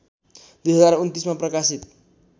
२०२९ मा प्रकाशित